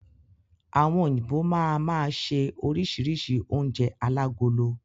Àwọn òyìnbó máa máa ṣe oríṣìíríṣìí oúnjẹ alágolo.